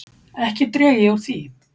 Ekki dreg ég úr því.